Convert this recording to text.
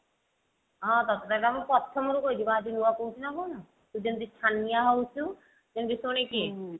ହଁ ତତେ ତ ଏଟା ମୁଁ ପ୍ରଥମ ରୁ କହିଛି କଣ ଆଜି ନୂଆ କହୁଛି ନା କଣ ତୁ ଯେମିତି ଛାନିଆ ହଉଛୁ ଯେମିତି ଶୁଣିକି